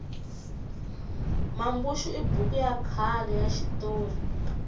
mambuxu i buku ya khale ya xitori